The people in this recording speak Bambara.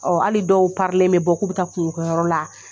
hali dɔw parilen bɛ bɔ k'u bɛ taa kungo kɛyɔrɔ la.